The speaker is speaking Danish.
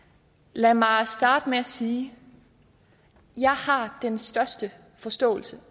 lad mig starte med at sige jeg har den største forståelse